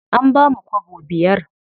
An bamu kwabo biyar.